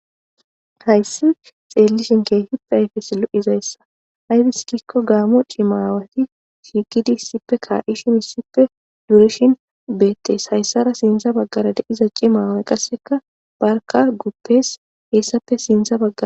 Hayssi xeellishin keehippe ayfes lo7izayssa aybiskikko gaamo cimaawati shiikidi issippe kaa7ishin issippe durishin beettes hayssara sintza baggara deiza cimawe qasseka barka guppes heessappe sintza baggara.